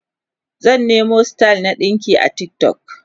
zan Nemo style na ɗinki a TikTok